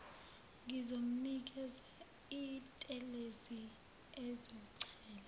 ngizomnikeza intelezi azochela